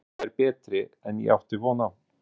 Mér fannst þær betri en ég átti von á.